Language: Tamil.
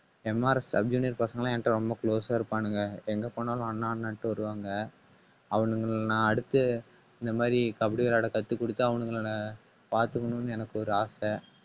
MRSsub junior பசங்க எல்லாம் என்கிட்ட ரொம்ப close ஆ இருப்பானுங்க. எங்க போனாலும் அண்ணா அண்ணான்னுட்டு வருவாங்க. அவனுங்களை நான் அடுத்து இந்த மாதிரி கபடி விளையாட கத்துக் கொடுத்து அவனுங்களை நான் பார்த்துக்கணும்ன்னு எனக்கு ஒரு ஆசை